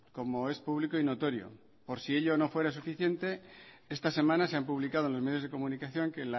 como es público y notorio por si ello no fuera suficiente esta semana se han publicado en los medios de comunicación que